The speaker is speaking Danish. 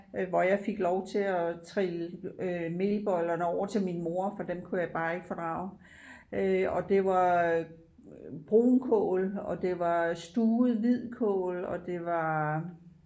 Hvor jeg fik lov til at trille øh melbollerne over til min mor for dem kunne jeg bare ikke fordrage øh og det var brunkål og det var stuvet hvidkål og det var